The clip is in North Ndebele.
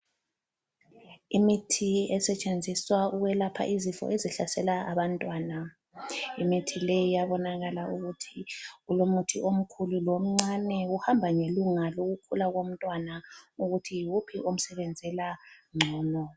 Imithi esetshenziswa ukwelapha izifo esihlasela abantwana. Imithi leyi iyabonakala ukuthi kulomuthi omkhulu lomncane, kuhamba ngelunga lokukhula komntwana ukuthi yiwuphi omsebenzela ngcono.